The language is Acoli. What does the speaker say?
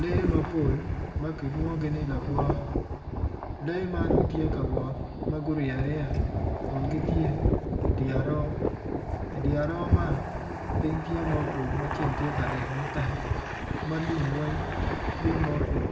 Lee mapol ma kilwongogi ni lagwa lee man gitye ka wot ma gurye aryeya kun gitye idi aroo idi aroo man piny tye mutwo ma ceng tye ka ryeny matek ma lum weng tye mutwo